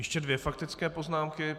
Ještě dvě faktické poznámky.